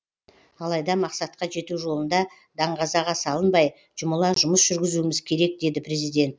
алайда мақсатқа жету жолында даңғазаға салынбай жұмыла жұмыс жүргізуіміз керек деді президент